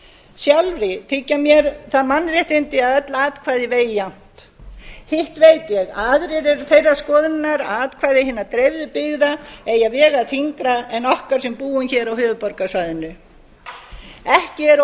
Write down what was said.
sjálfri þykja mér það mannréttindi að öll atkvæði vegi jafnt hitt veit ég að aðrir eru þeirrar skoðunar að atkvæði hinna dreifðu byggða eigi að vega þyngra en okkar sem búum á höfuðborgarsvæðinu ekki er